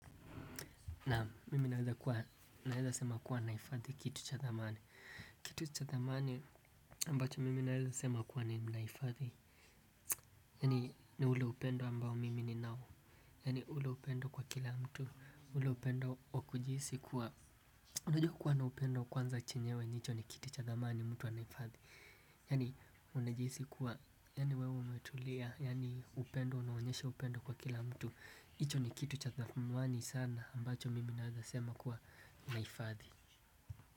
Naam mimi naweza kuwa naweza sema kuwa nahifadhi kitu cha thamani. Kitu cha thamani ambacho mimi naweza sema kuwa ninahifadhi. Yani ni ule upendo ambao mimi ni nao. Yani ule upendo kwa kila mtu. Ule upendo wakujihisi kuwa unajua kuwa na upendo kwanza chenyewe hicho ni kitu cha thamani mtu anahifadhi. Yani unajihisi kuwa yani wewe umetulia. Yani upendo unaonyesha upendo kwa kila mtu. HiIcho ni kitu cha thamani sana ambacho mimi naweza sema kuwa nahifadhi.